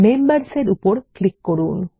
Members এর উপর click করুন